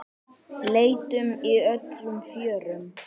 Leitum í öllum fjörum.